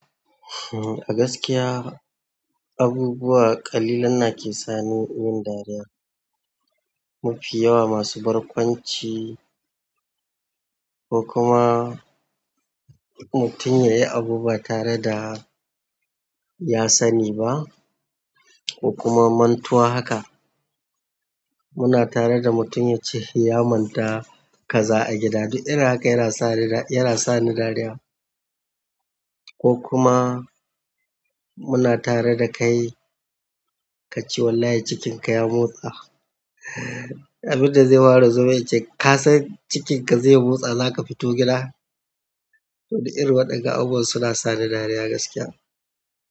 A gaskiya abubuwa ƙalilan na ke sani yin dariya. Mafi yawa masu barkwanci ko kuma mutum yayi abu ba tare da ya sani ba ko kuma mantuwa haka. Muna tare da mutum ya ce hinya manta kaza a gida. Duk irin haka yana sa ni dariya ko kuma muna tare da kai kace wallahi cikinka ya motsa. Abin da zai ware zomin ince, ka san cikinka zai motsa zaka fito gida? Duk irin waɗannan abubuwa suna sa ni dariya gaskiya.